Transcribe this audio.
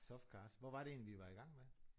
Soft cars. Hvor var det egentlig vi var i gang med?